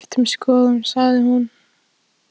Þú getur alltaf skipt um skoðun, sagði hún.